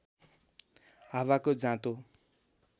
हावाको जाँतो